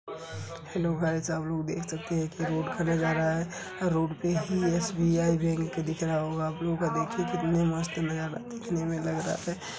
Hello guys आप लोग देख सकते की रोड़ खना रहा है | रोड़ पे ही एस बी आई बैंक दिख रहा होगा देखिये कितना मस्त नज़ारा देखने में लग रहा है।